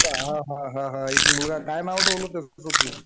हो का. हा हा हा. एक मुलगा काय नाव ठेवलं त्याचं तू?